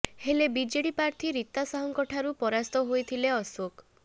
ହେଲେ ବିଜେଡି ପ୍ରାର୍ଥୀ ରୀତା ସାହୁଙ୍କ ଠାରୁ ପରାସ୍ତ ହୋଇଥିଲେ ଅଶୋକ